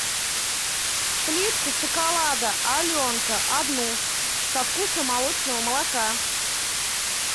плитку шоколада аленка одну со вкусом молочного молока